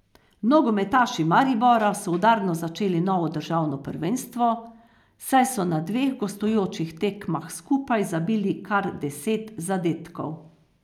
Nogometaši Maribora so udarno začeli novo državno prvenstvo, saj so na dveh gostujočih tekmah skupaj zabili kar deset zadetkov.